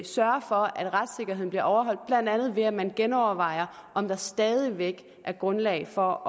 sørge for at retssikkerheden bliver overholdt blandt andet ved at man genovervejer om der stadig væk er grundlag for